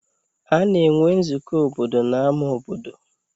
Ana enwe nzukọ obodo n'ámá obodo.